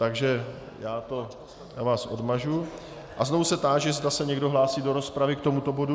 Takže vás odmažu a znovu se táži, zda se někdo hlásí do rozpravy k tomuto bodu.